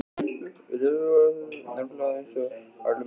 Við Leifur áttum nákvæmlega eins haglabyssur, þriggja skota pumpur.